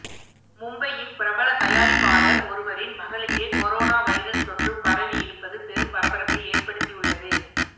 மும்பையின் பிரபல தயாரிப்பாளர் ஒருவரின் மகளுக்கே கொரோனா வைரஸ் தொற்று பரவி இருப்பது பெரும் பரபரப்பை ஏற்படுத்தி உள்ளது